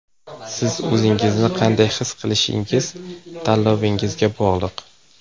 Siz o‘ zingizni qanday his qilishingiz tanlovingizga bog‘liq.